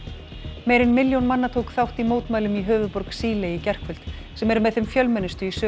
meira en milljón manna tók þátt í mótmælum í höfuðborg Síle í gærkvöld sem eru með þeim fjölmennustu í sögu